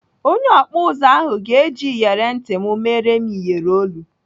Onye ọkpụ ụzụ ahụ ga-eji iyeri ntị m mere m iyeri olu.